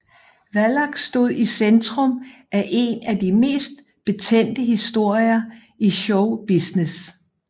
Wallach stod i centrum af en af de mest betændte historier i show business